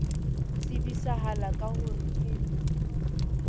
tsebisahala ka ho re ke